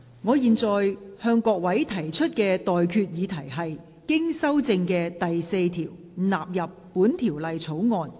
我現在向各位提出的待決議題是：經修正的第4條納入本條例草案。